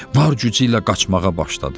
Var gücü ilə qaçmağa başladı.